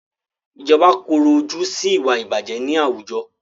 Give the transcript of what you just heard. Ìjọba korò ojú sí ìwà ìbàjẹ́ ní àwùjọ.